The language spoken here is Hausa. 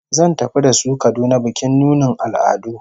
Zai tafi da su Kaduna bikin nunin al'adu